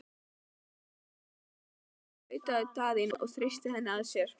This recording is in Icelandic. Elsku barn, tautaði Daðína og þrýsti henni að sér.